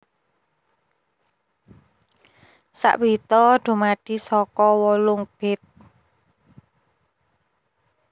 Sak bita dumadi saka wolung bit